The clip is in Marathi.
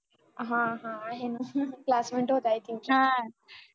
हा आहे ना classmate होत्या i think